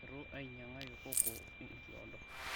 eitu ainyangaki kokoo enkiodo